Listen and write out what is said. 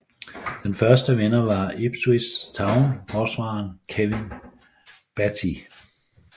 Den første vinder var Ipswich Town forsvareren Kevin Beattie